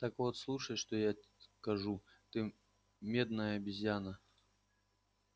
так вот слушай что я скажу ты медная обезьяна